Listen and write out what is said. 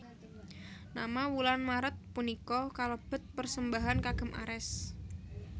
Nama wulan Maret punika kalebet persembahan kagem Ares